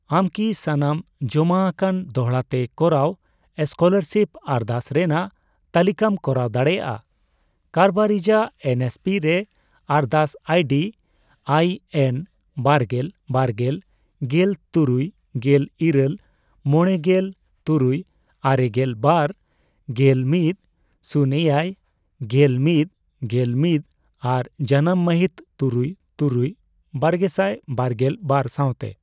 ᱟᱢᱠᱤ ᱥᱟᱱᱟᱢ ᱡᱚᱢᱟ ᱟᱠᱟᱱ ᱫᱚᱲᱦᱟ ᱛᱮ ᱠᱚᱨᱟᱣ ᱥᱠᱯᱚᱞᱟᱨᱥᱤᱯ ᱟᱨᱫᱟᱥ ᱨᱮᱱᱟᱜ ᱛᱟᱞᱤᱠᱟᱢ ᱠᱚᱨᱟᱣ ᱫᱟᱲᱮᱭᱟᱜᱼᱟ ᱠᱟᱨᱵᱟᱨᱤᱡᱟᱜ ᱮᱱ ᱮᱥ ᱯᱤ ᱨᱮ ᱟᱨᱫᱟᱥ ᱟᱭᱰᱤ ᱟᱭ ᱮᱱ ᱵᱟᱨᱜᱮᱞ, ᱵᱟᱨᱜᱮᱞ, ᱜᱮᱞ, ᱛᱩᱨᱩᱭᱜᱮᱞ ᱤᱨᱟᱹᱞ, ᱢᱚᱬᱮ ᱜᱮᱞ ᱛᱩᱨᱩᱭ, ᱟᱨᱮᱜᱮᱞ ᱵᱟᱨ ,ᱜᱮᱞ ᱢᱤᱫ, ᱥᱩᱱᱮᱭᱟᱭ ,ᱜᱮᱞ ᱢᱤᱫ, ᱜᱮᱞ ᱢᱤᱫ ᱟᱨ ᱡᱟᱱᱟᱢ ᱢᱟᱹᱦᱤᱛ ᱛᱩᱨᱩᱭᱼᱛᱩᱨᱩᱭᱼᱵᱟᱨᱜᱮᱥᱟᱭ ᱵᱟᱨᱜᱮᱞ ᱵᱟᱨ ᱥᱟᱶᱛᱮ ᱾